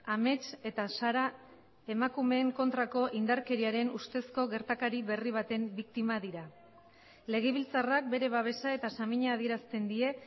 amets eta sara emakumeen kontrako indarkeriaren ustezko gertakari berri baten biktima dira legebiltzarrak bere babesa eta samina adierazten die